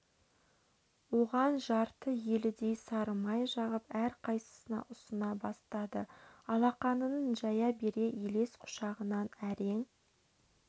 оған жарты елідей сары май жағып әрқайсысына ұсына бастады алақанын жая бере елес құшағынан әрең